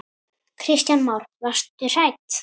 Kristján Már: Varstu hrædd?